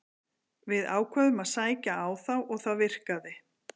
Við ákváðum að sækja á þá og það virkaði.